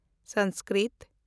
Sanskrit